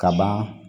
Kaban